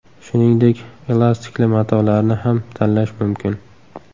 Shuningdek, elastikli matolarni ham tanlash mumkin.